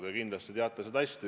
Te kindlasti teate neid hästi.